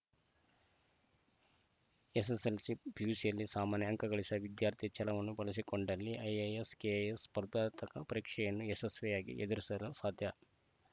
SSLC ಪಿಯುಸಿಯಲ್ಲಿ ಸಾಮಾನ್ಯ ಅಂಕಗಳಿಸಿದ ವಿದ್ಯಾರ್ಥಿ ಛಲವನ್ನು ಬೆಳೆಸಿಕೊಂಡಲ್ಲಿ ಐಎಎಸ್‌ ಕೆಎಎಸ್‌ ಸ್ಪರ್ಧಾತಕ ಪರೀಕ್ಷೆಯನ್ನು ಯಶಸ್ವಿಯಾಗಿ ಎದುರಿಸಲು ಸಾಧ್ಯ